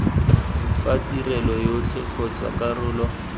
fa tirelo yotlhe kgotsa karolo